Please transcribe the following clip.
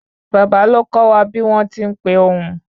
Bàbá ló kọ wa bí wọn tin pe ohùn